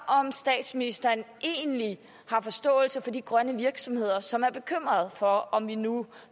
om statsministeren egentlig har forståelse for de grønne virksomheder som er bekymrede for om vi nu